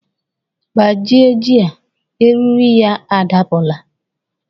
Gbajie ji a! Eriri ya adapula